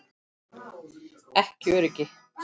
Ekki öryggi.